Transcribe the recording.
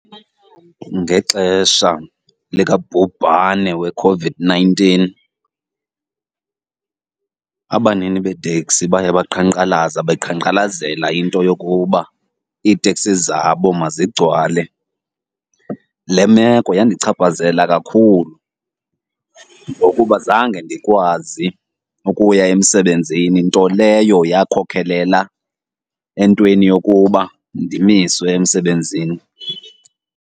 Ngexesha likabhubhane weCOVID-nineteen abanini beeteksi baye baqhankqalaza beqhankqalazela into yokuba iiteksi zabo mazigcwale. Le meko yandichaphazela kakhulu ngokuba zange ndikwazi ukuya emsebenzini, nto leyo yakhokhelela entweni yokuba ndimiswe emsebenzini.